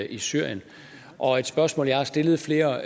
i syrien og et spørgsmål jeg har stillet flere